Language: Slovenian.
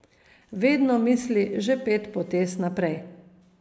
Vedno misli že pet potez naprej.